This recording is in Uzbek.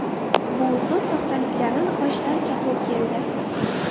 Bu usul soxtaliklarni aniqlashda ancha qo‘l keldi.